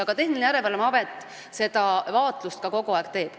Aga Tehnilise Järelevalve Amet seda vaatlust kogu aeg teeb.